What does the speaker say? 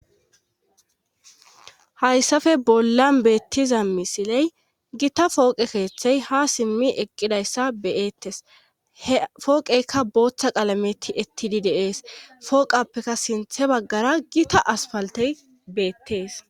hayssafe bolla beettiza misiley gita fooqe keeththey ha simmi eqqidayssa beyeettes h fooqeykka booththa qalameti ettidi deees fooqappeka sinthe baggara gita aspaltey beettees